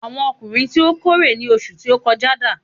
àwọn ọdunkun ti o kórè ni oṣù ti o kọjá dà